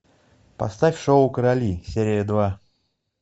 поставь шоу короли серия два